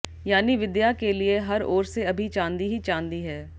यानी विद्या के लिए हर ओर से अभी चांदी ही चांदी है